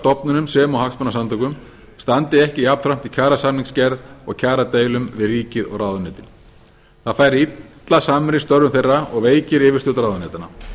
stofnunum sem og hagsmunasamtökum standi ekki jafnframt í kjarasamningsgerð og kjaradeilum við ríkið og ráðuneytin það fær illa samrýmst störfum þeirra og veikir yfirstjórn ráðuneytanna